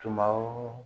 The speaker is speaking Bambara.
Tuma o